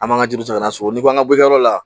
An b'an ka juru ta an na sogo n'i ko an ka bɔ yɔrɔ la